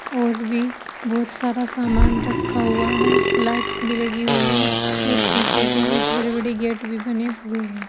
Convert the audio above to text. और भी बहुत सारा समान रखा हुआ है लाइट्स भी लगी हुई है और शीशे के बहुत बड़े बड़े गेट भी बने हुए हैं।